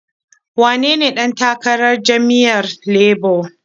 Wanene ɗan takarar jam'iyyar Labo?